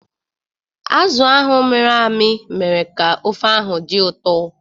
Azụ ahụ mịrị amị mere ka ofe ahụ dị ụtọ.